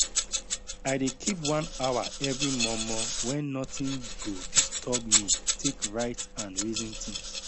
i dey keep one hour every mor mor wen nothing go disturb me take write and reason things